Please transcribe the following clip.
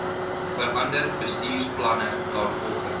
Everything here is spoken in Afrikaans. verander bestuursplanne daarvolgens